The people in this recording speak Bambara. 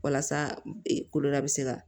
Walasa koloda bɛ se ka